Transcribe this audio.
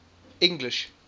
english